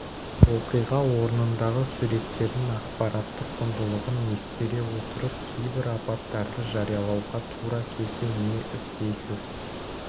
оқиға орнындағы суреттердің ақпараттық құндылығын ескере отырып кейбір апаттарды жариялауға тура келсе не істейсіз